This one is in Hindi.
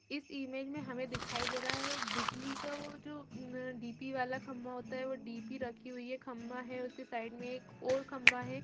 इस इमेज में हमे दिखाई दे रहा है एक बिजली का वो जो डी_पी वाला खंभा होता है वो डी_पी रखी हुई है खंभा हैउसके साइड मे एक और खंभा है।